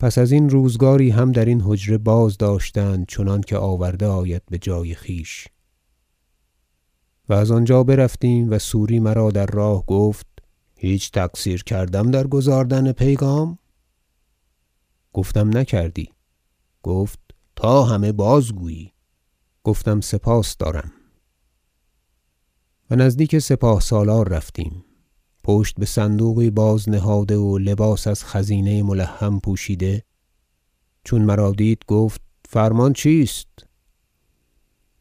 پس ازین روزگاری هم درین حجره بازداشتند چنانکه آورده آید بجای خویش و از آنجا برفتیم و سوری مرا در راه گفت هیچ تقصیر کردم در گزاردن پیغام گفتم نکردی تا همه بازگویی گفتم سپاس دارم و نزدیک سپاه سالار رفتیم پشت بصندوقی بازنهاده و لباس از خزینه ملحم پوشیده چون مرا دید گفت فرمان چیست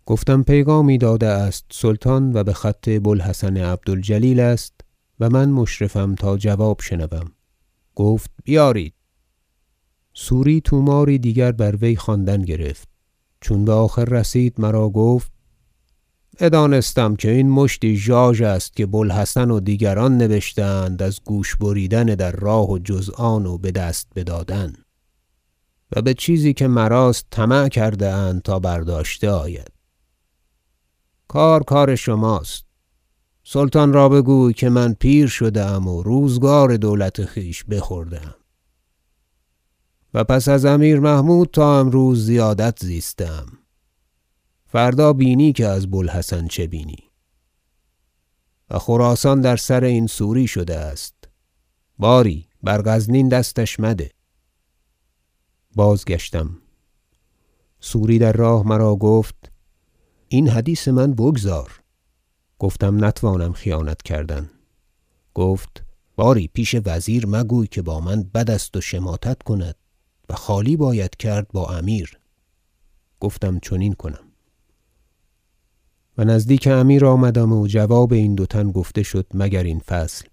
گفتم پیغامی داده است سلطان و بخط بو الحسن عبد الجلیل است و من مشرفم تا جواب شنوم گفت بیارید سوری طوماری دیگر بر وی خواندن گرفت چون بآخر رسید مرا گفت بدانستم این مشتی ژاژ است که بو الحسن و دیگران نبشته اند از گوش بریدن در راه و جز آن و بدست بدادن و بچیزی که مراست طمع کرده اند تا برداشته آید کار کار شماست سلطان را بگوی که من پیر شده ام و روزگار دولت خویش بخورده ام و پس از امیر محمود تا امروز زیادت زیسته ام فردا بینی که از بو الحسن عبد الجلیل چه بینی و خراسان در سر این سوری شده است باری بر غزنین دستش مده بازگشتم سوری در راه مرا گفت این حدیث من بگذار گفتم نتوانم خیانت کردن گفت باری پیش وزیر مگوی که با من بد است و شماتت کند و خالی باید کرد با امیر گفتم چنین کنم و نزدیک امیر آمدم و جواب این دو تن گفته شد مگر این فصل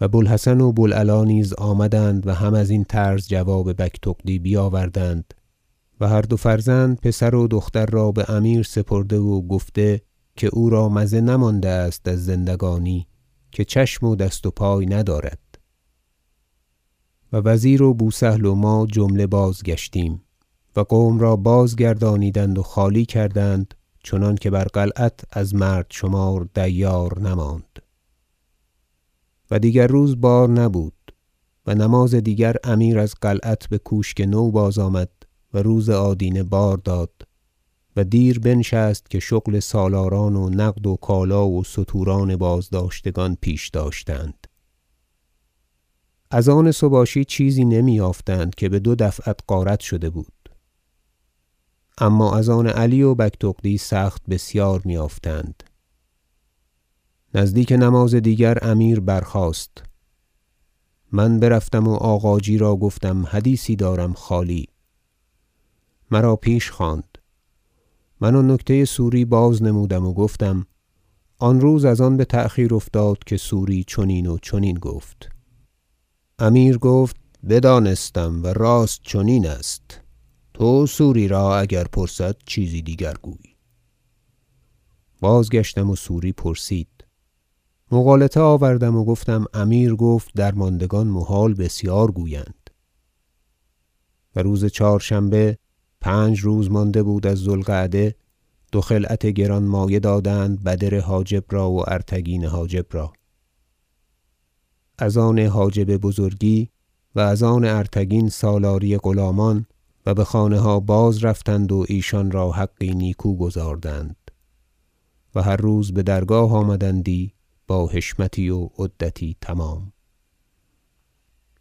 و بو الحسن و بو العلاء نیز آمدند و هم ازین طرز جواب بگتغدی بیاوردند و هر دو فرزند پسر و دختر را بامیر سپرده و گفته که او را مزه نمانده است از زندگانی که چشم و دست و پای ندارد و وزیر و بو سهل و ما جمله بازگشتیم و قوم را جمله بازگردانیدند و خالی کردند چنانکه بر قلعت از مرد شمار دیار نماند و دیگر روز بار نبود و نماز دیگر امیر از قلعت بکوشک نو بازآمد و روز آدینه بارداد و دیر بنشست که شغل سالاران و نقد و کالا و ستوران بازداشتگان پیش داشتند از آن سباشی چیزی نمی یافتند که بدو دفعت غارت شده بود اما از آن علی و بگتغدی سخت بسیار می یافتند نزدیک نماز دیگر امیر برخاست من برفتم و آغاجی را گفتم حدیثی دارم خالی مرا پیش خواند من آن نکته سوری بازنمودم و گفتم آنروز از آن بتأخیر افتاد که سوری چنین و چنین گفت امیر گفت بدانستم و راست چنین است تو سوری را اگر پرسد چیزی دیگرگوی بازگشتم و سوری پرسید مغالطه آوردم و گفتم امیر گفت درماندگان محال بسیار گویند و روز چهارشنبه پنج روز مانده بود از ذو القعده دو خلعت گرانمایه دادند بدر حاجب را وارتگین حاجب را از آن حاجب بزرگی و از آن ارتگین سالاری غلامان و بخانه ها باز رفتند و ایشان را حقی نیکو گزاردند و هر روز بدرگاه آمدندی با حشمتی و عدتی تمام